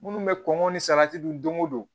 Minnu bɛ kɔngɔ ni salati dun don o don